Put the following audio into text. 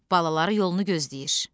Balaları yolunu gözləyir.